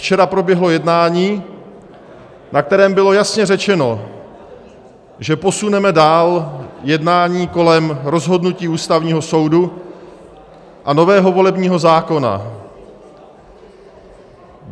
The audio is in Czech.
Včera proběhlo jednání, na kterém bylo jasně řečeno, že posuneme dál jednání kolem rozhodnutí Ústavního soudu a nového volebního zákona.